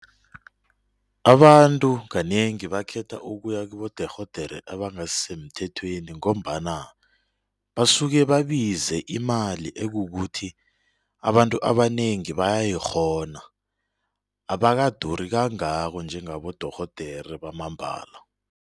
Abantu kanengi bakhetha ukuya kibodorhodere abangasisemthethweni ngombana basuke babize imali ekukuthi abantu abanengi bayayikghona abakaduri kangako njengabodorhodere bamambala.